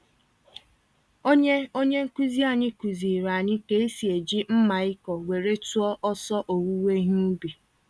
Onye Onye nkuzi anyị kuziri anyị ka esi eji mmaịkọ were tụọ ọsọ owuwe ihe ubi.